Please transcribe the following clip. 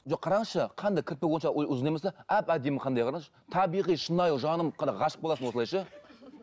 жоқ қараңызшы қандай кірпігі онша ұзын емес те әп әдемі қандай қараңызшы табиғи шынайы жаным қара ғашық боласың осылай ше